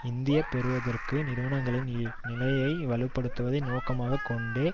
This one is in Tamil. இந்திய பெருவர்த்தக நிறுவனங்களின் நிலையை வலுப்படுத்துவதை நோக்கமாக கொண்டே